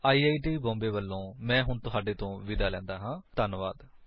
I I T Mumbai ਵਲੋਂ ਮੈਂ ਹੁਣ ਤੁਹਾਡੇ ਤੋਂ ਵਿਦਾ ਲੈਂਦਾ ਹਾਂ ਧੰਨਵਾਦ